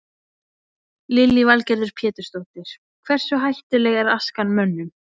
Lillý Valgerður Pétursdóttir: Hversu hættuleg er askan mönnum?